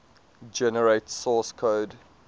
generate source code